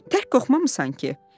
Tək qorxmamısan ki?